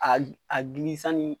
A a gili sanni